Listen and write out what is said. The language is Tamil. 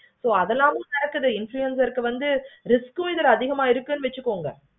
ஓ அதெல்லவும் நடக்குது influencer க்கு வந்து risk க்கு அதிகமா இருக்குனு வச்சிக்கோங்க.